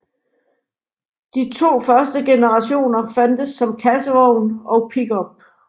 De to første generationer fandtes som kassevogn og pickup